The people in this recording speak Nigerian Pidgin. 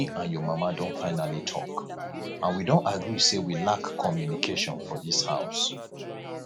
me and your mama don finally talk and we don agree say we lack communication for dis house